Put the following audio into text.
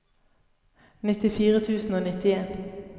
nittifire tusen og nittien